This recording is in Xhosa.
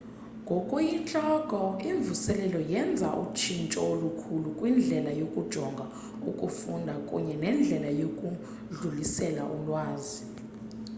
ngokuyintloko imvuselelo yenza utshintsho olukhulu kwindlela yokujonga ukufunda kunye nendlela yokudlulisela ulwazi